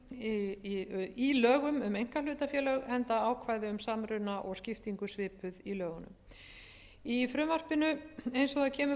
einföldunar í lögum um einkahlutafélög enda ákvæði um samruna og skiptingu svipuð í lögunum í frumvarpinu eins og það kemur